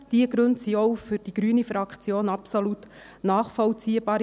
Diese Gründe sind auch für die Fraktion Grüne absolut nachvollziehbar.